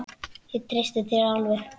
Ég treysti þér alveg!